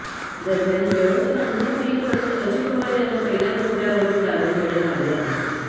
दरम्यान ही व्यवस्था अंमलात येईपर्यंत अजित पवार यांना पहिल्या मजल्यावरील दालन देण्यात आले आहे